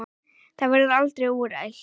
Það verður aldrei úrelt.